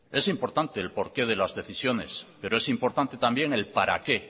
es importante el por qué de las decisiones pero es importante también el para qué